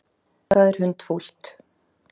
Það er hundfúlt.